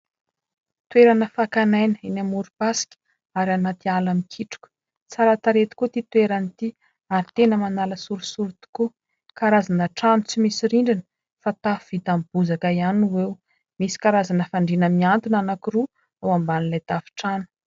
toerana fakan'aina eny amorom-pasika ary anaty ala mikitroka tsara tarehy tokoa ity toerana ity ary tena manala sorisory tokoa karazana trano tsy misy rindrina fa tafo vita amin'ny bozaka ihany o ho eo misy karazana fandriana miantona anaky roa ao amban'ilay tafo-trano